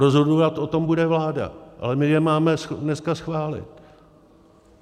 Rozhodovat o tom bude vláda, ale my je máme dneska schválit.